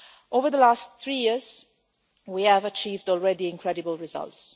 Over the last three years, we have achieved already incredible results.